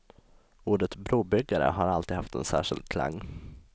Ordet brobyggare har alltid haft en särskild klang.